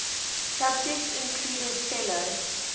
subjects included fellow